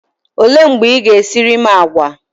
Olee mgbe Ị ga-esiri m àgwà?